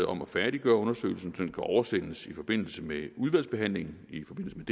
om at færdiggøre undersøgelsen kan oversendes i forbindelse med udvalgsbehandlingen i forbindelse med